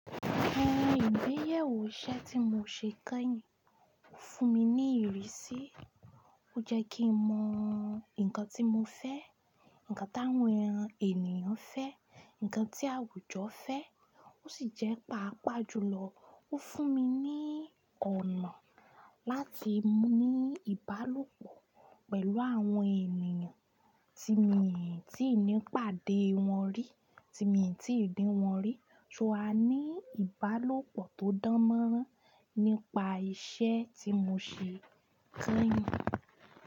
Àwọn ìgbéyàwó iṣẹ́ tí mo ṣe kányìn fún mi ní ìrísí. Ó jẹ́ kí mo mọ ǹkan tí mo fẹ́, ǹkan táwọn ènìyàn fẹ́, ǹkan tí àwùjọ fẹ́. Ó sì jẹ́ pàápàá jùlọ, ó fún mi ní ọ̀nà láti ní ìbálòpọ̀ pẹ̀lú àwọn ènìyàn tí mi ò tí ì ní pàdé wọn rí, tí mi ò tí ì rí wọn rí. So a ní ìbálòpọ̀ tó dánmọ́nrán nípa ìṣe tí mo ṣe kányìn.